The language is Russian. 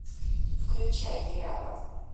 включай триада